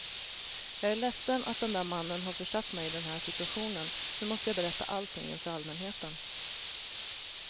Jag är ledsen att den där mannen har försatt mig i den här situationen, nu måste jag berätta allting inför allmänheten.